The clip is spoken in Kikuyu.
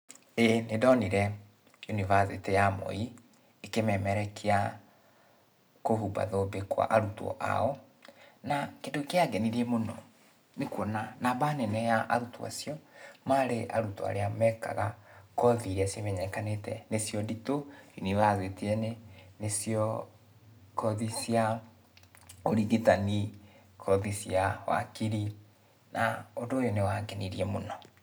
Ĩĩ nĩndonire yunibacĩtĩ ya Moi, ĩkĩmemerekia kũhumba thũmbi kwa arũtwo ao, na kĩndũ kĩangenirie mũno, nĩkuona, namba nene ya arutwo acio, marĩ arutwo arĩa mekaga kothi iria cimenyekanĩte nĩcio nditũ, yunibacĩtĩ-inĩ, nĩcio kothi cia, ũrigitani, kothi cia wakiri, na ũndũ ũyũ nĩwangenirie mũno.